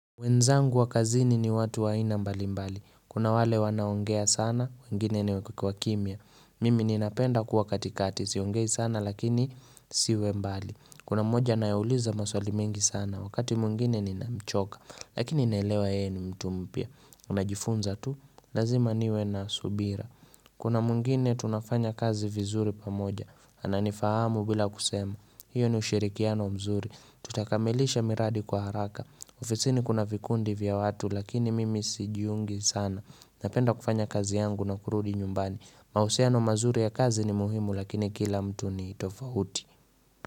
Wenzangu wa kazini ni watu waaina mbalimbali. Kuna wale wanaongea sana, wengine ni wakimya. Mimi ninapenda kuwa katikati, siongei sana lakini nisiwe mbali. Kuna mmoja naeuliza maswali mingi sana, wakati mwingine ninamchoka. Lakini ninaelewa yeye ni mtu mpya. Unajifunza tu, lazima niwe na subira. Kuna mwingine tunafanya kazi vizuri pamoja. Ananifahamu bila kusema. Hiyo ni ushirikiano mzuri. Tutakamilisha miradi kwa haraka. Ofisini kuna vikundi vya watu lakini mimi sijiungi sana. Napenda kufanya kazi yangu na kurudi nyumbani. Mahusiano mazuri ya kazi ni muhimu lakini kila mtu ni tofauti.